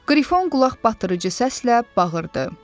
Qrifon qulaqbatırıcı səslə bağırdı.